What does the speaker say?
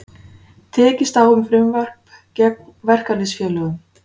Tekist á um frumvarp gegn verkalýðsfélögum